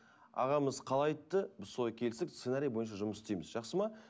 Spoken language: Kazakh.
ағамыз қалай айтты біз солай келісіп сценарий бойынша жұмыс істейміз жақсы ма